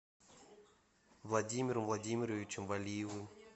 владимиром владимировичем валиевым